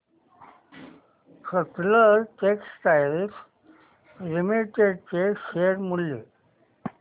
Sutlej textiles limited चे share मूल्य